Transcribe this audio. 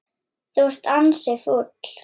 Þú ert ansi fúll.